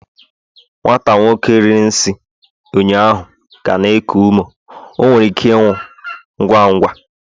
nwata nwoke riri nsi ụnyaahụ ka na-eku ume, o nwere ike ịnwụ ngwa ngwa